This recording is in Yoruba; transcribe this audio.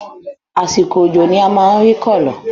Àsìkò òjò ni a ma ń rí kòló